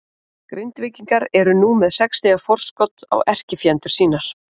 Grindvíkingar eru nú með sex stiga forskot á erkifjendur sína.